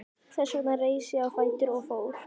Þess vegna reis ég á fætur og fór.